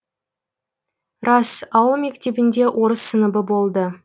рас ауыл мектебінде орыс сыныбы болды